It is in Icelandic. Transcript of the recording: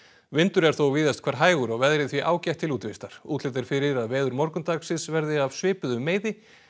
vindur er þó víðast hvar hægur og veðrið því ágætt til útivistar útlit er fyrir að veður morgundagsins verði af svipuðum meiði